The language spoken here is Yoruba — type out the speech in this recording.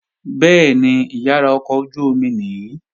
Bẹ́ẹ̀ni, ìyàrá ọkọ̀ ojú-omi nìí